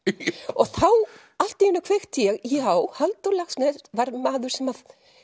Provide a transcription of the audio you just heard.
og þá allt í einu kveikti ég já Halldór Laxness var maður sem að